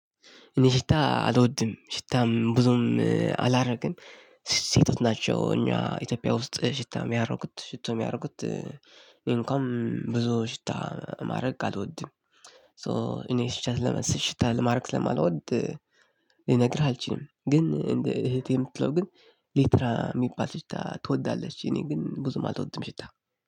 እኔ ሽታ አልወድም ሽታም ብዙም አላደርግም። ሴቶች ናቸው እኛ ኢትዮጵያ ውስጥ ሽታ የሚያደርጉት ሽቶ የሚያደርጉት እኔ እንኳን ብዙ ሽታ ማረግ አሎድም። ሶ እኔ ሽታ ማረግ ስለማሎድ ልነግርህ አልችልም። ግን እህቴ የምትለው ግን ዴታ የሚባል ሽታ ትወዳለች። እኔ ግን ብዙም አሎድም ሽታ